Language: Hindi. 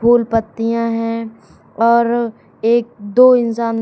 फूल पत्तियां हैं और एक दो इंसान--